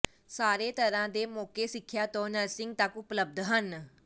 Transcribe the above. ਸਾਰੇ ਤਰ੍ਹਾਂ ਦੇ ਮੌਕੇ ਸਿੱਖਿਆ ਤੋਂ ਨਰਸਿੰਗ ਤੱਕ ਉਪਲਬਧ ਹਨ